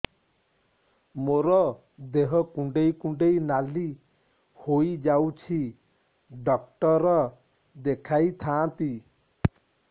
ମୋର ଦେହ କୁଣ୍ଡେଇ କୁଣ୍ଡେଇ ନାଲି ହୋଇଯାଉଛି ଡକ୍ଟର ଦେଖାଇ ଥାଆନ୍ତି